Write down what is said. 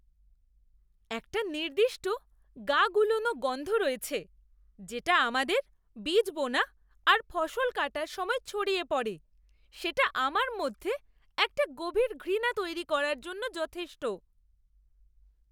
একটা নির্দিষ্ট গা গুলোনো গন্ধ রয়েছে যেটা আমাদের বীজ বোনা আর ফসল কাটার সময় ছড়িয়ে পড়ে, সেটা আমার মধ্যে একটা গভীর ঘৃণা তৈরি করার জন্য যথেষ্ট।